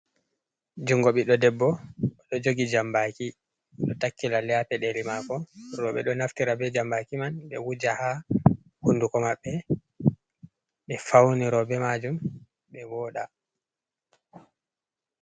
Jungo biɗɗo debbo oɗo jogi jambaki ɗo takkila lalle ha pedeli mako roɓe ɗo naftira be jambaki man ɓe wuja ha hunduko maɓɓe ɓe fauni roɓe majum ɓe voɗa.